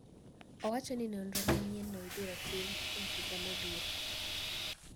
Owacho ni nonro manyienno ibiro tim e higa mabiro.